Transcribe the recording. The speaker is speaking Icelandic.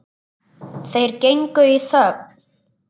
Þeir gengu í þögn.